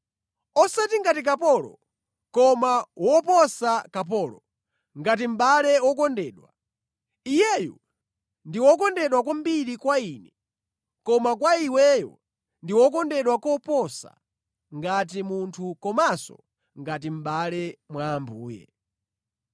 Osati ngati kapolo, koma woposa kapolo, ngati mʼbale wokondedwa. Iyeyu ndi wokondedwa kwambiri kwa ine koma kwa iweyo ndi wokondedwa koposa, ngati munthu komanso ngati mʼbale mwa Ambuye.